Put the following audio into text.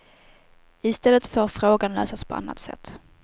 I stället får frågan lösas på annat sätt.